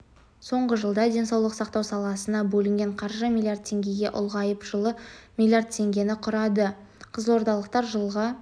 соңғы жылда денсаулық сақтау саласына бөлінген қаржы млрд теңгеге ұлғайып жылы млрд теңгені құрады қызылордалықтар жылға